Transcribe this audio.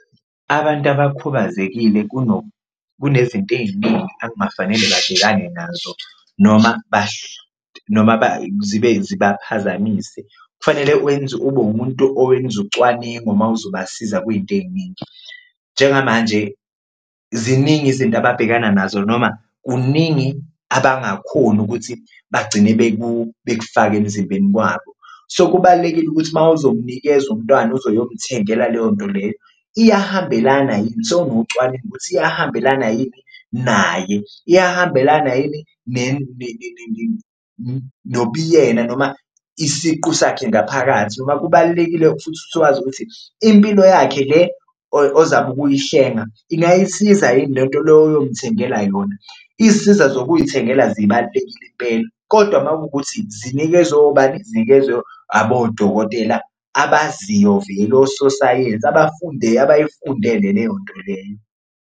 Abantu abakhubazekile kunezinto ey'ningi angafanele babhekane nazo noma noma zibaphazamise kufanele ube umuntu owenza ucwaningo uma uzobasiza kuyinto ey'ningi, njengamanje ziningi izinto ababhekana nazo noma kuningi abangakhoni ukuthi bagcine bekufake emzimbeni kwabo. So, kubalulekile ukuthi uma uzomnikeza umntwana uzoyomthengela leyo nto leyo iyahambelana yini ukuthi iyahambelana yini naye, iyahambelana yini nobuyena noma isiqu sakhe ngaphakathi, noma kubalulekile futhi ukuthi wazi ukuthi impilo yakhe le ozabe ukuyihlenga ingayisiza yini lento loyo oyomthengela yona. Izisiza zokuyithengela zibalulekile impela kodwa uma kuwukuthi zinikezwe ubani? Zinikezwe abodokotela abaziyo vele ososayensi abayifundele leyo nto leyo.